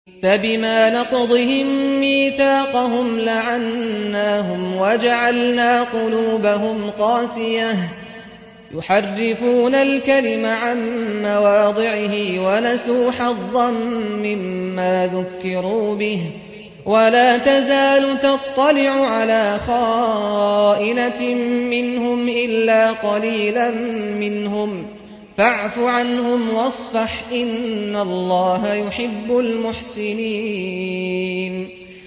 فَبِمَا نَقْضِهِم مِّيثَاقَهُمْ لَعَنَّاهُمْ وَجَعَلْنَا قُلُوبَهُمْ قَاسِيَةً ۖ يُحَرِّفُونَ الْكَلِمَ عَن مَّوَاضِعِهِ ۙ وَنَسُوا حَظًّا مِّمَّا ذُكِّرُوا بِهِ ۚ وَلَا تَزَالُ تَطَّلِعُ عَلَىٰ خَائِنَةٍ مِّنْهُمْ إِلَّا قَلِيلًا مِّنْهُمْ ۖ فَاعْفُ عَنْهُمْ وَاصْفَحْ ۚ إِنَّ اللَّهَ يُحِبُّ الْمُحْسِنِينَ